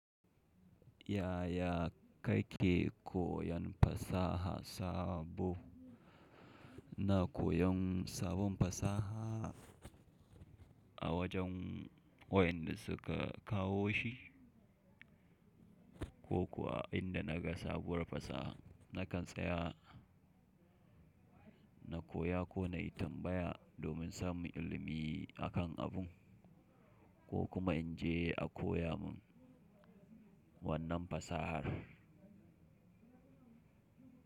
Yaya kake koyon fasaha sabo? Ina koyon sabon fasaha a wajen wayanda suka kawo shi kokuwa inda naga sabuwar fasaha, nakan tsaya na koya ko na yi tambaya domin samun ilimi akan abun ko kuma in je a koya mun wannan fasahar.